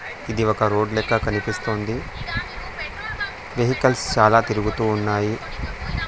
ఇది ఒక రోడ్ లెక్క కనిపిస్తోంది వెహికల్స్ చాలా తిరుగుతూ ఉన్నాయి.